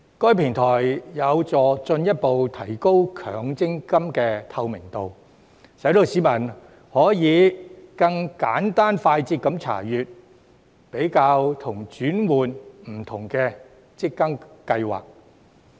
該平台有助進一步提高強積金的透明度，使市民可以更簡單快捷地查閱、比較及轉換不同的強積金計劃。